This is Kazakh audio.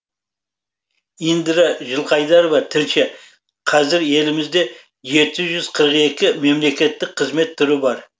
индира жылқайдарова тілші қазір елімізде жеті жүз қырық екі мемлекеттік қызмет түрі бар